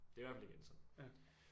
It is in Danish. Det er i hvert fald ikke endt sådan